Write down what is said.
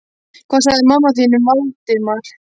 Hvað sagði mamma þín um Valdimar?